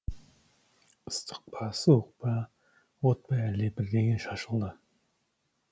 ыстық су ма от па әлде бірдеңе шашылды